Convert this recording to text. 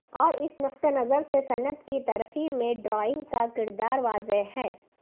اور اس نقطہ نظر سے صنعت کی ترقی میں ڈرائنگ کا کردار واضح ہے